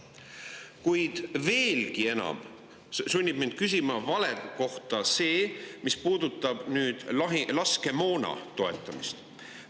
Kuid veelgi enam sunnib mind valede kohta küsima see, mis puudutab laskemoona soetamist.